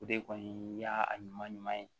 O de kɔni y'a ɲuman ɲuman ɲuman ye